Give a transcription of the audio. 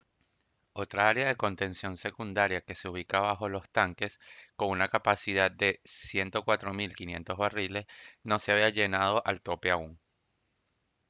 otra área de contención secundaria que se ubica bajo los tanques con una capacidad de 104 500 barriles no se había llenado al tope aún